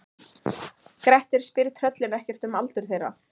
Grettir spyr tröllin ekkert um aldur þeirra.